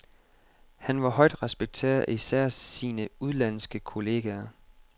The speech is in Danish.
Han var højt respekteret af især sine udenlandske kollegaer.